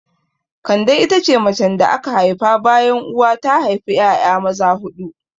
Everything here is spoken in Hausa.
Kande ita ce macen da aka haifa bayan uwa ta haifa 'ya'ya maza huɗu.